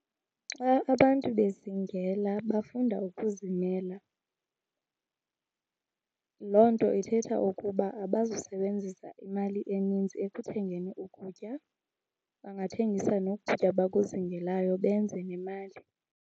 Xa abantu bezingela bafunda ukuzimela. Loo nto ithetha ukuba abazusebenzisa imali eninzi ekuthengeni ukutya, bangathengisa noku kutya bakuzingelayo benze nemali.